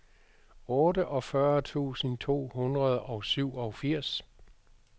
otteogfyrre tusind to hundrede og syvogfirs